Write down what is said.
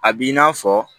A b'i n'a fɔ